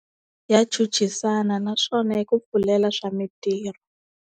Ya chuchisana naswona yi ku pfulela swa mintirho.